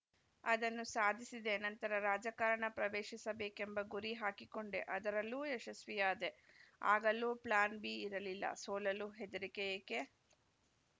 ಅದನ್ನು ಸಾಧಿಸಿದೆ ನಂತರ ರಾಜಕಾರಣ ಪ್ರವೇಶಿಸಬೇಕೆಂಬ ಗುರಿ ಹಾಕಿಕೊಂಡೆ ಅದರಲ್ಲೂ ಯಶಸ್ವಿಯಾದೆ ಆಗಲೂ ಪ್ಲಾನ್‌ ಬಿ ಇರಲಿಲ್ಲ ಸೋಲಲು ಹೆದರಿಕೆ ಏಕೆ